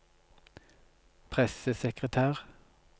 pressesekretær